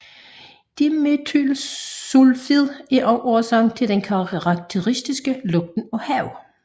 Dimetylsulfid er også årsagen til den karakteristiske lugt af hav